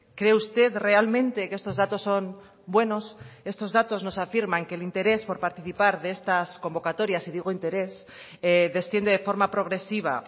cree usted realmente que estos datos son buenos estos datos nos afirman que el interés por participar de estas convocatorias y digo interés desciende de forma progresiva